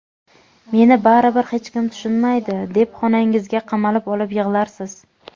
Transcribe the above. "Meni baribir hech kim tushunmaydi" deb xonangizga qamalib olib yig‘larsiz.